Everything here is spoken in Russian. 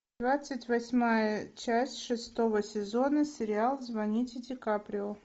двадцать восьмая часть шестого сезона сериал звоните дикаприо